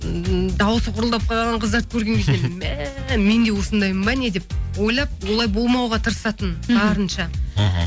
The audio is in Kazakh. ммм дауысы құрылдап қалған қыздарды көрген кезде мә мен де осындаймын ба не деп ойлап олай болмауға тырысатынмын барынша мхм